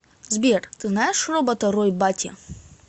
сбер ты знаешь робота рой батти